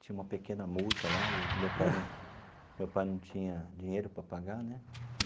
Tinha uma pequena multa lá e meu pai meu pai não tinha dinheiro para pagar né.